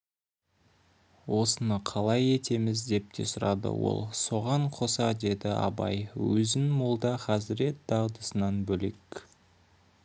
осыны қалай етеміз деп те сұрады ол соған қоса деді абай өзін молда хазірет дағдысынан бөлек